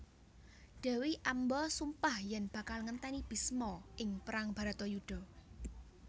Dewi Amba sumpah yen bakal ngenteni Bisma ing perang Baratayuda